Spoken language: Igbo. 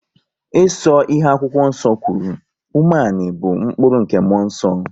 Ịso ihe akwụkwọ nso kwuru, umeani bụ mkpụrụ nke muonso